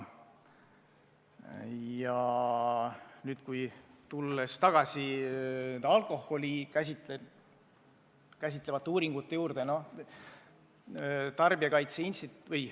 Aga tulen tagasi alkoholi käsitlevate uuringute juurde.